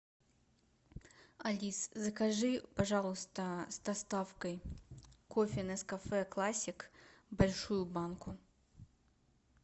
алис закажи пожалуйста с доставкой кофе нескафе классик большую банку